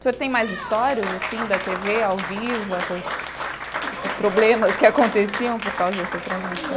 O senhor tem mais histórias, assim, da tê vê, ao vivo, essas esses problemas que aconteciam por causa dessa transmissão?